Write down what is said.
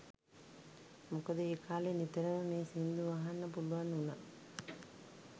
මොකද ඒ කා‍ලේ නිතරම මේ සිංදු අහන්න පුළුවන් උනා